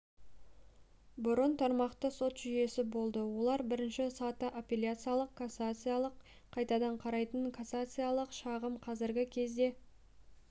бұрын тармақты сот жүйесі болды олар бірінші саты апелляциялық кассациялық қайтадан қарайтын кассациялық шағым қазіргі кезде